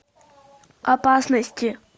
опасности